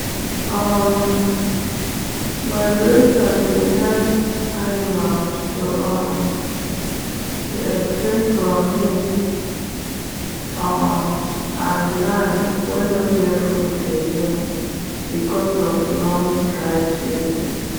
um migration dey help animals to um escape from heat um and land wen nor get food again because of long dry season.